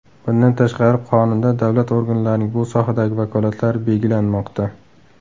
Bundan tashqari, Qonunda davlat organlarining bu sohadagi vakolatlari belgilanmoqda.